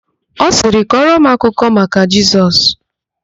Ọ sirị, "kọrọ m akụkọ maka Jesus"!